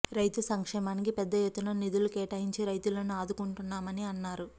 రైతు సంక్షేమానికి పెద్ద ఎత్తున నిధులు కేటాయించి రైతులను ఆదుకుంటున్నామని అన్నారు